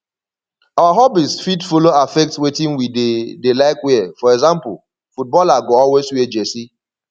our hobbies fit follow affect wetin we dey dey like wear for example footballer go always wear jersey